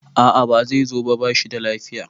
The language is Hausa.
a a Bai zo ba, ba shi da lafiya